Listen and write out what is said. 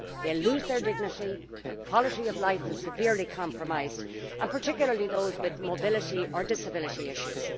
They lose their dignity, and their quality of life is severely compromised, particularly for those with mobility or disability issues.